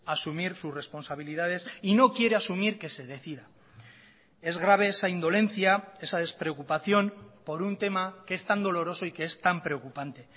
asumir sus responsabilidades y no quiere asumir que se decida es grave esa indolencia esa despreocupación por un tema que es tan doloroso y que es tan preocupante